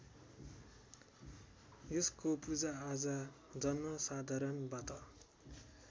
यसको पूजाआजा जनसाधारणबाट